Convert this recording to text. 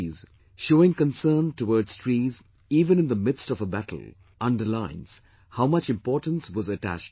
Showing concern towards trees even in the midst of a battle, underlines how much importance was attached to trees